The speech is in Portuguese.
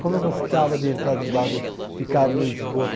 Como eu gostava de entrar debaixo do, ficar no esgoto.